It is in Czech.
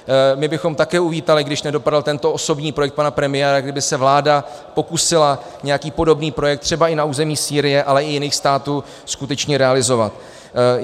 My bychom také uvítali, když nedopadl tento osobní projekt pana premiéra, kdyby se vláda pokusila nějaký podobný projekt, třeba i na území Sýrie, ale i jiných států skutečně realizovat.